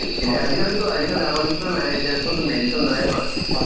movies ব্বনালে ভাল বনাইছে এইটো।